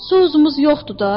Sousumuz yoxdu da.